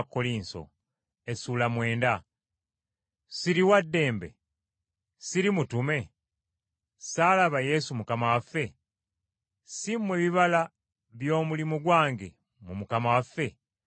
Ssiri wa ddembe? Ssiri mutume? Ssaalaba Yesu Mukama waffe? Si mmwe bibala by’omulimu gwange mu Mukama waffe?